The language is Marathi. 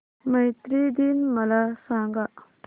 मैत्री दिन मला सांगा